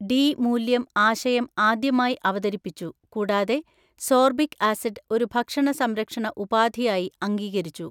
D മൂല്യം ആശയം ആദ്യമായി അവതരിപ്പിച്ചു, കൂടാതെ സോർബിക് ആസിഡ് ഒരു ഭക്ഷണ സംരക്ഷണ ഉപാധി ആയി അംഗീകരിച്ചു.